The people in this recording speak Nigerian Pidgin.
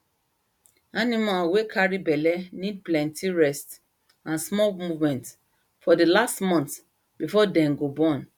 animal wey carry belle need plenty rest and small movement for the last month before dem go born